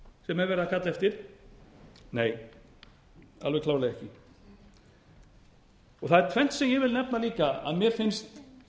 sem er verið að kalla eftir nei alveg klárlega ekki það er tvennt sem ég vil nefna líka að mér finnst